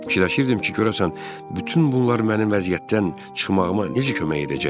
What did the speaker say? Düşünürdüm ki, görəsən bütün bunlar mənim vəziyyətdən çıxmağıma necə kömək edəcəkdi?